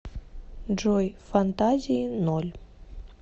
джой фантазии ноль